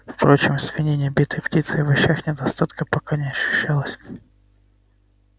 впрочем в свинине битой птице и овощах недостатка пока не ощущалось